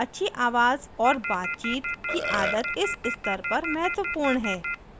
अच्छी आवाज़ और बातचीत की आदत इस स्तर पर महत्वपूर्ण है